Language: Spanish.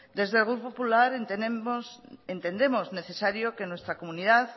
desde el grupo popular entendemos necesario que en nuestra comunidad